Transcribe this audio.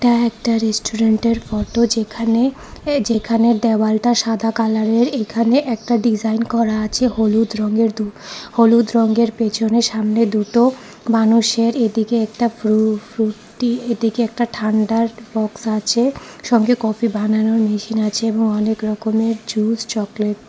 এটা একটা রেস্টুরেন্ট -এর ফটো যেখানে যেখানে দেওয়ালটা সাদা কালার -এর এখানে একটা ডিজাইন করা আছে হলুদ রঙের দু হলুদ রঙের পেছনে সামনে দুটো মানুষের এদিকে একটা ফ্রু-ফ্রুটি এদিকে একটা ঠাণ্ডার বক্স আছে সঙ্গে কফি বানানোর মেশিন আছে এবং অনেক রকমের জুস চকলেট ।